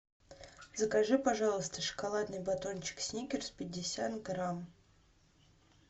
закажи пожалуйста шоколадный батончик сникерс пятьдесят грамм